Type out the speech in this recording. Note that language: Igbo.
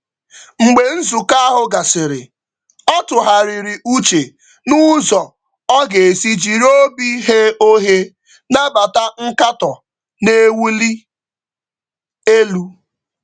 Mgbe nzukọ ahụ gasịrị, ọ tụgharịrị uche na ka ọ ga-esi jiri obi ghe oghe nabata nkatọ na-ewuli elu.